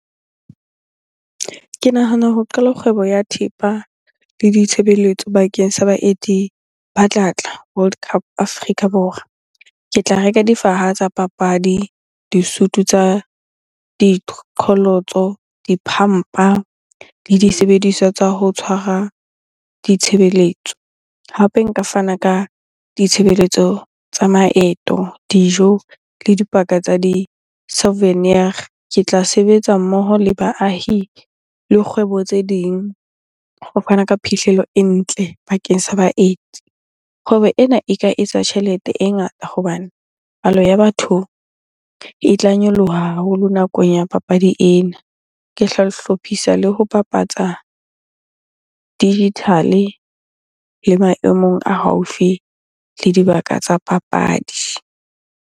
Ke nahana ho qala kgwebo ya thepa le ditshebeletso bakeng sa baeti ba tlatla World Cup, Afrika Borwa. Ke tla reka difaha tsa papadi, disutu tsa diqholotso, di le disebediswa tsa ho tshwara ditshebeletso. Hape nka fana ka ditshebeletso tsa maeto, dijo le dipaka tsa di-souvenir. Ke tla sebetsa mmoho le baahi le kgwebo tse ding ho fana ka phihlello e ntle bakeng sa baeti. Kgwebo ena e ka etsa tjhelete e ngata hobane palo ya batho e tla nyoloha haholo nakong ya papadi ena. Ke tla hlophisa le ho bapatsa digital-e le maemong a haufi le dibaka tsa papadi.